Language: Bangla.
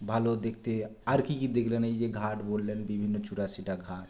ভালো দেখতে আর কী কী দেখলেন এইযে ঘাট বললেন বিভিন্ন চুরাশিটা ঘাট